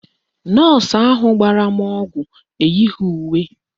Nọọsụ ahụ gbara m ọgwụ eyighi uwe